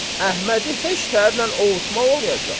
Əhmədi heç tərlə ovutmaq olmur.